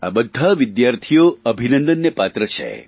આ બધા વિદ્યાર્થીઓ અભિનંદનને પાત્ર છે